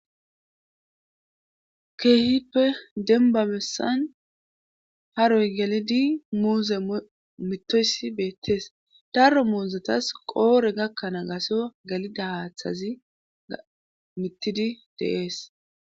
keehippe denba bessan haroy galidi muuze mittoyssi beettees darro muuzetas qoore gakkanaa gasyo galida haaththazi mittidi deees